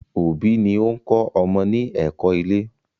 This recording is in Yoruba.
òbí ni o ń kọ́ ọmọ ní ẹ̀kọ́-ilé.